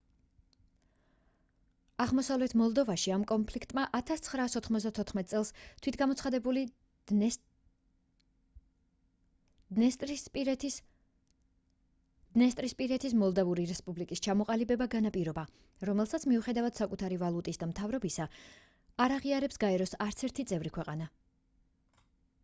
აღმოსავლეთ მოლდოვაში ამ კონფლიქტმა 1994 წელს თვითგამოცხადებული დნესტრისპირეთის მოლდავური რესპუბლიკის ჩამოყალიბება განაპირობა რომელსაც მიუხედავად საკუთარი ვალუტის და მთავრობისა არ აღიარებს გაეროს არცერთი წევრი ქვეყანა